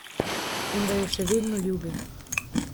In da jo še vedno ljubi.